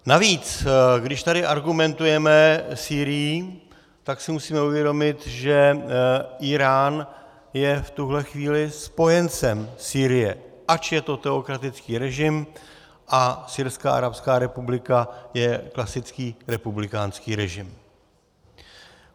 Navíc, když tady argumentujeme Sýrií, tak si musíme uvědomit, že Írán je v tuhle chvíli spojencem Sýrie, ač je to teokratický režim a Syrská arabská republika je klasický republikánský režim.